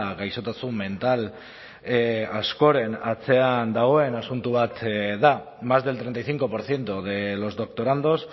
gaixotasun mental askoren atzean dagoen asuntu bat da más del treinta y cinco por ciento de los doctorandos